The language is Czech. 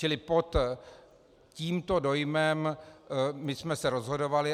Čili pod tímto dojmem my jsme se rozhodovali.